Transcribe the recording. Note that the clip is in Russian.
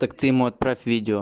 так ты ему отправь видео